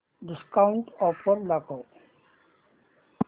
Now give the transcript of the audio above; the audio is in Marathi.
डिस्काऊंट ऑफर दाखव